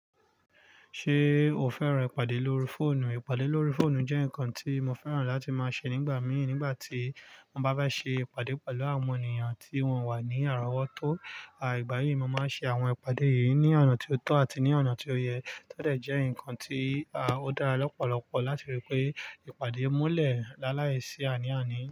Ṣé o fẹ́ràn ìpàdé lórí fóònù? Ìpàdé lórí fóònù jẹ́ nǹkan tí mo fẹ́ràn láti máa ṣe nígbà mí nígbà tí won bá ṣe ìpàdé pẹ̀lú àwọn ènìyàn tí wọ́n wà ní àrawọ tó. Àì, ìgbà mi, mo máa ń ṣe àwọn ìpàdé yìí ní oná tí ó tó àti ní àná tí ó yẹ. Ó dẹ̀ jẹ́ ǹkan tí, à, ó dára lọ́pọ̀lọpọ̀ láti rí pé ìpàdé múlẹ̀ láàláìsí àní àní.